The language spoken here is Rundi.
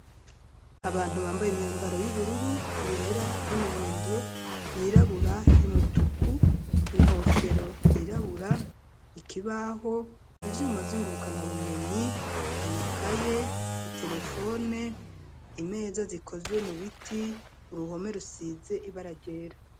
Abantu bambaye imyambaro y'ubururu, yera ,y'umuhondo, yirabura ,y'umutuku ,inkofero, yirabura ,ikibaho, ivyuma vy'ingurukana bumenyi ,amakaye ,iterefone, imeza zikozwe mu biti, uruhome rusize ibara ryera.